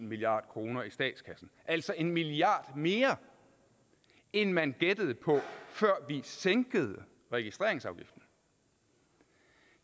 milliard kroner i statskassen altså en milliard kroner mere end man gættede på før vi sænkede registreringsafgiften